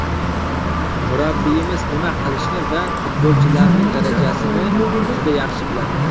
Murabbiyimiz nima qilishni va futbolchilarning darajasini juda yaxshi biladi.